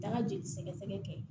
Taa ka jeli sɛgɛ sɛgɛ kɛ